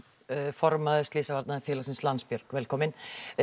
formaður Slysavarnafélagsins Landsbjörg velkominn